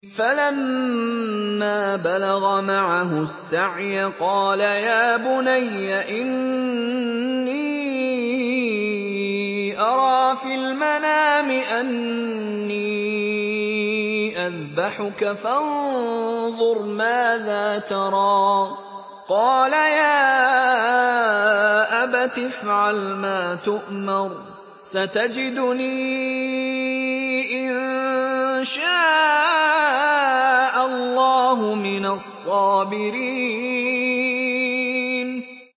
فَلَمَّا بَلَغَ مَعَهُ السَّعْيَ قَالَ يَا بُنَيَّ إِنِّي أَرَىٰ فِي الْمَنَامِ أَنِّي أَذْبَحُكَ فَانظُرْ مَاذَا تَرَىٰ ۚ قَالَ يَا أَبَتِ افْعَلْ مَا تُؤْمَرُ ۖ سَتَجِدُنِي إِن شَاءَ اللَّهُ مِنَ الصَّابِرِينَ